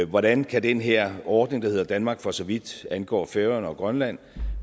hvordan kan den her ordning der hedder danmark for så vidt angår færøerne og grønland